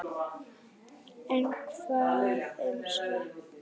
En hvað um svefn?